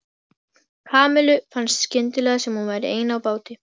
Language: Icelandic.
Kamillu fannst skyndilega sem hún væri ein á báti.